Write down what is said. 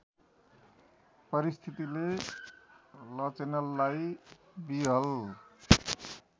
परिस्थितिले लचेनललाई विहृवल